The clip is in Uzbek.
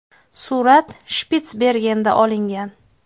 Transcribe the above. Surat Shpitsbergenda olingan.